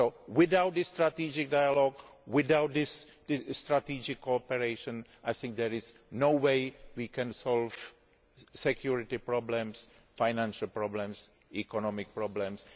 Without this strategic dialogue, without this strategic operation, there is no way we can solve security problems, financial problems, economic problems